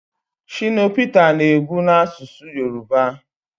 shina Peta na-egwu na-asụsụ Yoruba